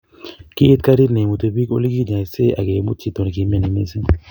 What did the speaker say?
kiit karit neimuti biik oleginyoisee, agemut chitonegimyoni missing